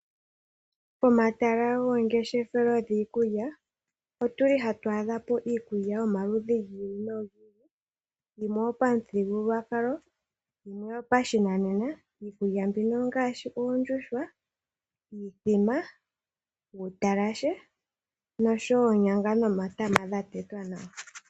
Pomatala goongeshefelo giikulya ohatu adha po iikulya ya yomaludhi gi ili nogi ili ,yimwe oyo pamuthigululwakalo yo yimwe oyo pashinanena, iikulya mbino oongaashi uundjuhwa ,iithima ,uutalashe nosho wo oonyanga nomatama gatetwa nawa.